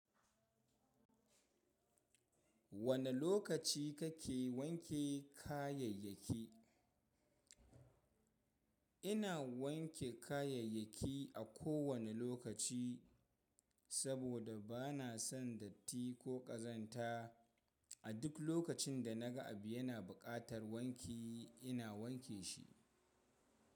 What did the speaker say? Wane lokaci kake wanke kayayyaki? Ina wanke kayayyaki a kowane lokaci, saboda ba na son datti ko ƙazanta. A duk lokacin da na ga abu yana buƙatar wanki, ina wanke shi.